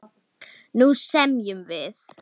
Nú semjum við!